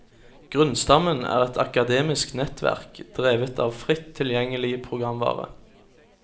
Grunnstammen er et akademisk nettverk, drevet av fritt tilgjengelig programvare.